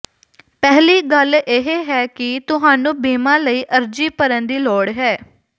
ਪਹਿਲੀ ਗੱਲ ਇਹ ਹੈ ਕਿ ਤੁਹਾਨੂੰ ਬੀਮਾ ਲਈ ਅਰਜ਼ੀ ਭਰਨ ਦੀ ਲੋੜ ਹੈ